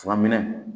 Furaminɛn